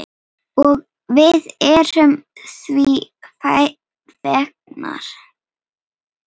Og við erum því fegnar.